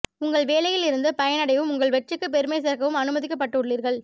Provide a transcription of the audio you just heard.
உங்கள் வேலையில் இருந்து பயனடையவும் உங்கள் வெற்றிக்கு பெருமை சேர்க்கவும் அனுமதிக்கப்பட்டுள்ளீர்கள்